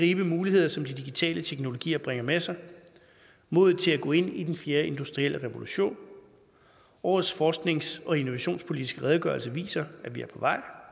de muligheder som de digitale teknologier bringer med sig modet til at gå ind i den fjerde industrielle revolution årets forsknings og innovationspolitiske redegørelse viser at vi er på vej